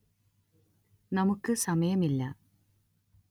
നമുക്ക് സമയമില്ല